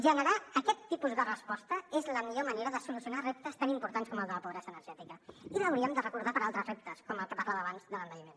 generar aquest tipus de resposta és la millor manera de solucionar reptes tan importants com el de la pobresa energètica i ho hauríem de recordar per a altres reptes com el que parlava abans de l’envelliment